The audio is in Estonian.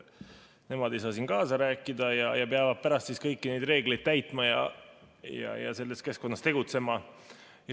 Nemad ei saa siin kaasa rääkida ja peavad pärast kõiki neid reegleid täitma ja selles keskkonnas tegutsema.